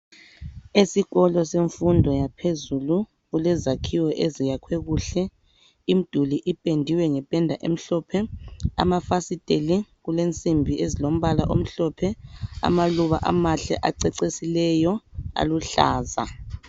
Esikolo semfundo yaphezulu kulezakhiwo eziyakhwe kuhle, imduli ipendiwe ngependa emhlophe, amafasiteli kulensimbi ezilombala omhlophe , amaluba amahle acecisileyo aluhlaza.